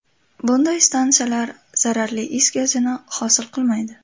Bunday stansiyalar zararli is gazini hosil qilmaydi.